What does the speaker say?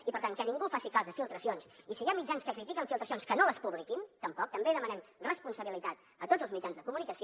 i per tant que ningú faci cas de filtracions i si hi ha mitjans que critiquen filtracions que no les publiquin tampoc també demanem responsabilitat a tots els mitjans de comunicació